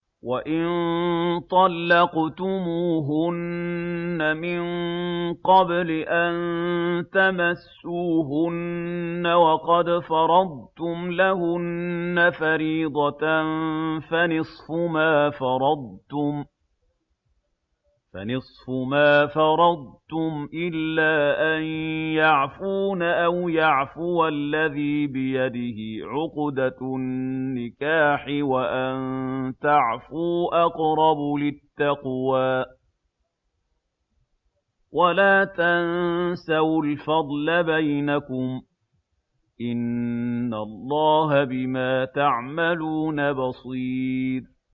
وَإِن طَلَّقْتُمُوهُنَّ مِن قَبْلِ أَن تَمَسُّوهُنَّ وَقَدْ فَرَضْتُمْ لَهُنَّ فَرِيضَةً فَنِصْفُ مَا فَرَضْتُمْ إِلَّا أَن يَعْفُونَ أَوْ يَعْفُوَ الَّذِي بِيَدِهِ عُقْدَةُ النِّكَاحِ ۚ وَأَن تَعْفُوا أَقْرَبُ لِلتَّقْوَىٰ ۚ وَلَا تَنسَوُا الْفَضْلَ بَيْنَكُمْ ۚ إِنَّ اللَّهَ بِمَا تَعْمَلُونَ بَصِيرٌ